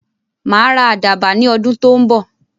Màá ra àdàbà ní ọdún tó ń bọ̀.